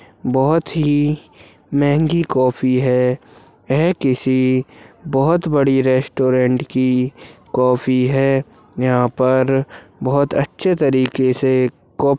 बहोत ही महंगी कोफ़ी है हैं किसी बहोत बड़ी रेस्टोरेंट की कोफि है यहा पर बहोत अच्छे तरीके से कप --